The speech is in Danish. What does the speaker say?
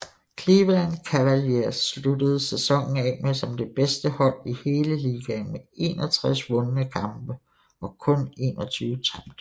Cleveland Cavaliers sluttede sæsonen af som det bedste hold i hele ligaen med 61 vundne kampe og kun 21 tabte